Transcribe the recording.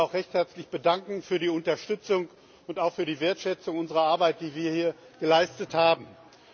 Ich möchte mich recht herzlich für die Unterstützung und auch für die Wertschätzung unserer Arbeit, die wir hier geleistet haben, bedanken.